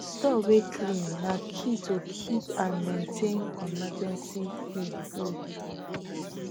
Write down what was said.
store way clean na key to keep and maintain emergency feed good